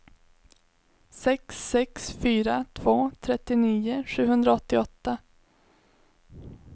sex sex fyra två trettionio sjuhundraåttioåtta